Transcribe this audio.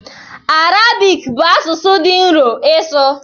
Arabik bụ asụsụ dị nro ịsụ.